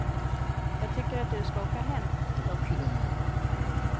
Jag tycker att du ska åka hem. punkt